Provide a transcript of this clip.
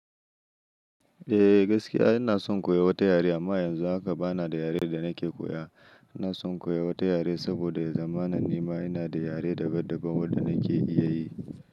Eh gaskiya ina son koya wata yare amma yanzu haka bana da yaren da nake koya. Ina son koya wata yare saboda zamanin nima yana da yare daban daban wanda nake iya yi.